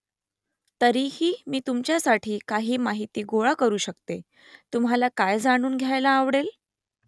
तरीही मी तुमच्यासाठी काही माहिती गोळा करू शकते . तुम्हाला काय जाणून घ्यायला आवडेल ?